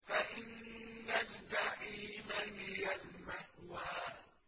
فَإِنَّ الْجَحِيمَ هِيَ الْمَأْوَىٰ